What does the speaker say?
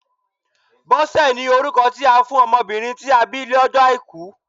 Bọ́sẹ̀ ni orúkọ tí a fún ọmọbìnrin tí a bí lọ́jọ́ Àìkú